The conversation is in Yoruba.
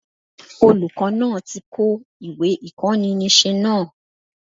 Olùkó náà ti ko ìwé ìkóninísé náà